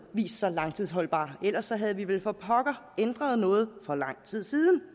sig langtidsholdbar ellers havde vi vel for pokker ændret noget for lang tid siden